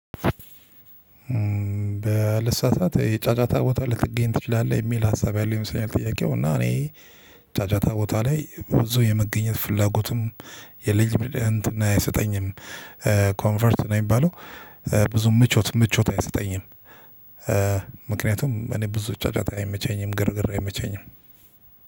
በልሳሳት የጫጫታ ቦታ ልትገኝ ትችላለህ የሚል ሀሳብ ያለው ይመስለኛል። ጥያቄው እና እኔ ጫጫታ ቦታ ላይ ብዙ የመገኘት ፍላጎትም የለኝም እንትን አይሰጠኝም ኮምፈርት ነው የሚባለው። ብዙ ምቾት ምቾት አይሰጠኝም። ምክንያቱም እኔ ብዙ ጫጫታ አይመቸኝም ግርግር አይመቸኝም።